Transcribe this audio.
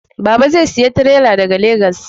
Baba zai saya tirela daga Legas